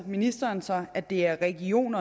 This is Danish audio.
ministeren sig at det er region